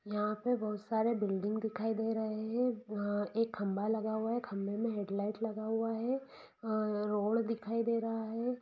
यहाँ पे बहुत-सारे बिल्डिंग दिखाई दे रहे है यहाँ एक खम्बा लगा हुआ है खम्बे मे हैडलाइट लगा हुआ है रोड दिखाई दे रहा है।